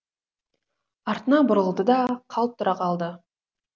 артына бұрылды да қалт тұра қалды